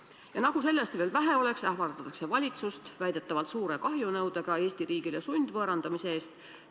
Ja nagu sellest veel vähe oleks, ähvardatakse valitsust väidetavalt suure Eesti riigile esitatava kahjunõudega sundvõõrandamise eest.